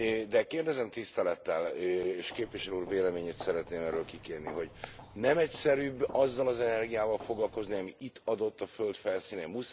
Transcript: De kérdezem tisztelettel, és képviselő úr véleményét szeretném erről kikérni, hogy nem egyszerűbb azzal az energiával foglalkozni, ami itt adott a föld felszínén?